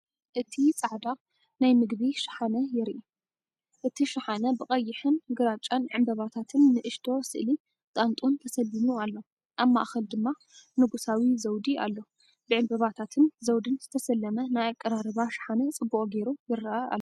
እቲ ጻዕዳ ናይ ምግቢ ሸሓነ የርኢ። እቲ ሸሓነ ብቐይሕን ግራጭን ዕምባባታትን ንእሽቶ ስእሊ ጣንጡን ተሰሊሙ ኣሎ። ኣብ ማእከል ድማ ንጉሳዊ ዘውዲ ኣሎ። ብዕምባባታትን ዘውድን ዝተሰለመ ናይ ኣቀራርባ ሸሓነ ጽቡቕ ጌሩ ይረአ ኣሎ።